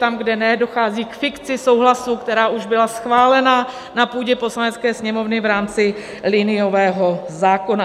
Tam, kde ne, dochází k fikci souhlasu, která už byla schválena na půdě Poslanecké sněmovny v rámci liniového zákona.